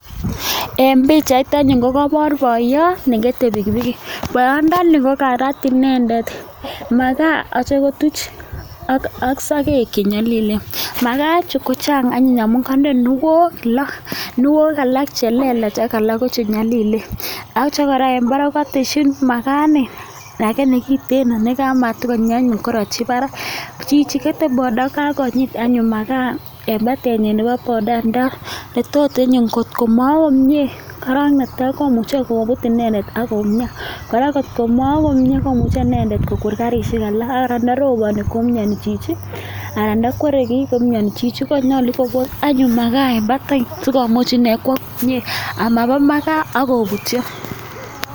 En bichait anyun ko kabar boiyot nekete bikikbiki boiyot ndani kokarat inendet makaa ak sagek chenyalilen makaa Chu kochang anyun amun kande kinuok lo kinuok alak chelelach ak chenyalilen akityo en Barak kokateshi makaa inei lakini kiten nematakonyi nekaratyi Barak Chichi kete boda kokakonyit anyun makaa en batenyin Nebo bodaa netot anyun kotkomawa komie koron netai komuche kobut inendet akoumian ,kogwer karishek alak andarobani koumiani chuchianan ntakwere ki koumiani Chichi kokon anyun makaa en batai komuch inei Kwa komie amaba makaa akobutyo